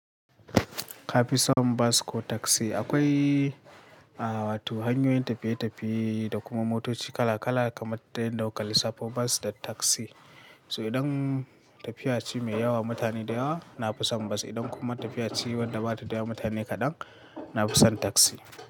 Ka fi son bas ko taksi? Akwai, ah, wato hanyoyin tafiye-tafiye da kuma motoci kala-kala kamar dai yanda kuka lissafo basu da taksi. So idan tafiya ce mai yawa mutane da yawa, na fi son bas. Idan kuma tafiya ce wadda ba ta da yawa mutane kaɗan, na fi son taksi.